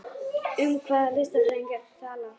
Um hvaða listfræðinga ertu að tala?